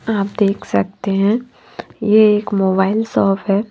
आप देख सकते हैं ये एक मोबाइल शॉप है।